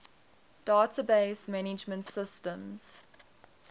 database management systems